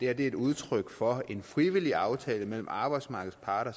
er et udtryk for en frivillig aftale mellem arbejdsmarkedets parter